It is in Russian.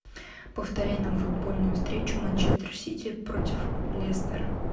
повторяй нам футбольную встречу манчестер сити против лестера